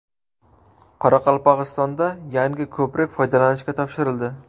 Qoraqalpog‘istonda yangi ko‘prik foydalanishga topshirildi.